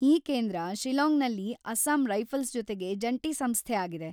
ಈ ಕೇಂದ್ರ ಶಿಲ್ಲಾಂಗ್‌ನಲ್ಲಿ ಅಸ್ಸಾಂ ರೈಫಲ್ಸ್‌ ಜೊತೆಗೆ ಜಂಟಿ ಸಂಸ್ಥೆ ಆಗಿದೆ.